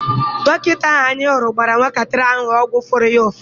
Dọkịta ahụ anyị hụrụ gbara nwatakịrị ahụ ọgwụ furu ya ụfụ.